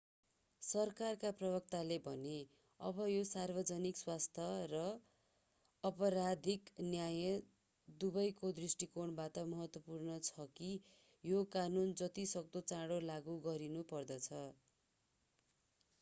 सरकारका प्रवक्ताले भने अब यो सार्वजनिक स्वास्थ्य र आपराधिक न्याय दवैको दृष्टिकोणबाट महत्त्वपूर्ण छ कि यो कानून जति सक्दो चाँडो लागू गरिनुपर्दछ